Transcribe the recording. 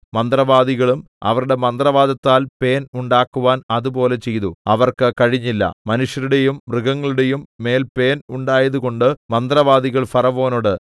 മന്ത്രവാദികളും അവരുടെ മന്ത്രവാദത്താൽ പേൻ ഉണ്ടാക്കുവാൻ അതുപോലെ ചെയ്തു അവർക്ക് കഴിഞ്ഞില്ല മനുഷ്യരുടെയും മൃഗങ്ങളുടെയും മേൽ പേൻ ഉണ്ടായതുകൊണ്ട് മന്ത്രവാദികൾ ഫറവോനോട്